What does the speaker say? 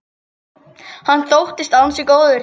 Hann þóttist ansi góður.